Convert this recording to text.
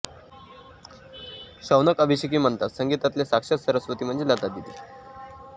शौनक अभिषेकी म्हणतात संगीतातल्या साक्षात सरस्वती म्हणजे लतादिदी